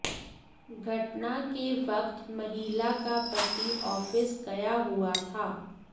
घटना के वक्त महिला का पति ऑफिस गया हुआ था